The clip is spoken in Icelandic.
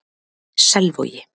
Selvogi